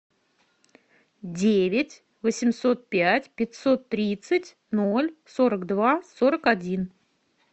девять восемьсот пять пятьсот тридцать ноль сорок два сорок один